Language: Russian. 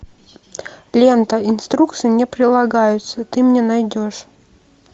лента инструкция не прилагается ты мне найдешь